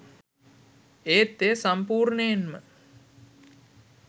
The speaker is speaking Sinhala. ඒත් එය සම්පූර්ණයෙන්ම